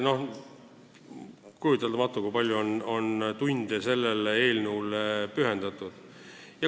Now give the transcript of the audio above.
Kujuteldamatu, kui palju tunde on sellele eelnõule pühendatud!